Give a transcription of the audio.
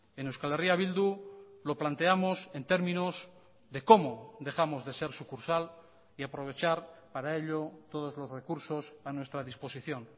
en euskal herria bildu lo planteamos en términos de cómo dejamos de ser sucursal y aprovechar para ello todos los recursos a nuestra disposición